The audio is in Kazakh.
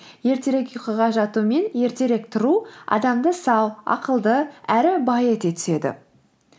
ертерек ұйқыға жату мен ертерек тұру адамды сау ақылды әрі бай ете түседі